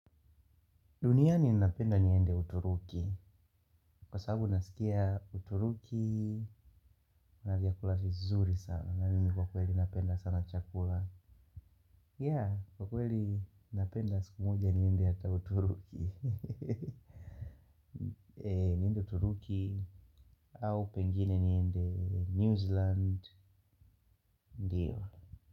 Dunia ninapenda niende Uturuki. Kwa sababu nasikia Uturuki, kuna vyakula vizuri sana. Na mimi kwa kweli napenda sana chakula. Yeah. Kwa kweli napenda siku moja niende hata Uturuki. Niende uturuki, au pengine niende New Zealand, ndiyo.